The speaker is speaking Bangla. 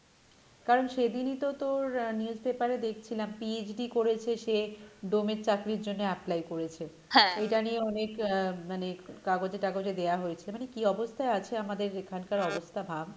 কারণ সেদিনই তো তোর আহ newspaper এ দেখছিলাম PhD করেছে সে ডোম এর চাকরির জন্য apply করেছে এইটা নিয়ে অনেক আহ মানে কাগজে টাগজে দেওয়া হয়েছে মানে কী অবস্থায় আছে আমাদের এখানকার অবস্থা ভাব,